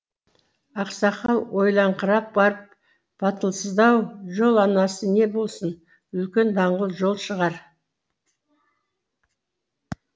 ақсақал ойланыңқырап барып батылсыздау жол анасы не болсын үлкен даңғыл жол шығар